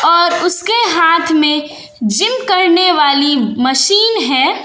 और उसके हाथ में जिम करने वाली मशीन है।